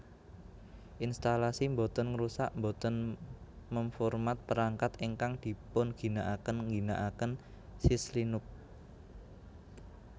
Instalasi mbotèn ngrusak mbotèn mem format perangkat ingkang dipunginaakén ngginaaken Syslinux